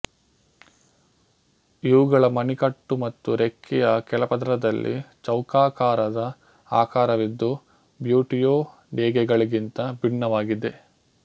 ಇವುಗಳ ಮಣಿಕಟ್ಟು ಮತ್ತು ರೆಕ್ಕೆಯ ಕೆಳಪದರದಲ್ಲಿ ಚೌಕಾಕಾರದ ಆಕಾರವಿದ್ದು ಬ್ಯುಟಿಯೋ ಡೆಗೆಗಳಿಗಿಂತ ಬಿನ್ನವಾಗಿವೆ